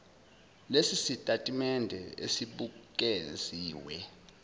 lesi sitatimende esibukeziwe